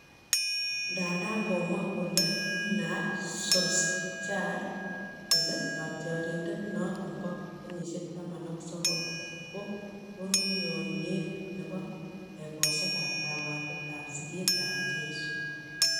Ndanda komwa Ole Gunnar Solskjaer kole katyarindet noton bo kenyisiek taman ak sokol ko konunoniet nebo egosiek ab kapwatet ab siget ab cheiso